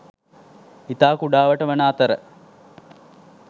ඉතා කුඩාවට වන අතර